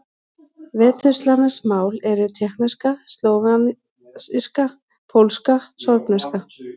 Vesturslavnesk mál eru: tékkneska, slóvakíska, pólska, sorbneska.